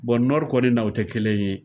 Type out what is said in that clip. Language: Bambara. Bɔn nɔri kɔni na o te kelen ye